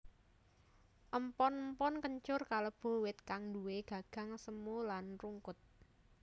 Empon empon kencur kalebu wit kang nduwè gagang semu lan rungkut